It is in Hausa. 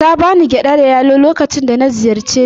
Ta ba ni gyada da yalo lokacin da na ziyarta.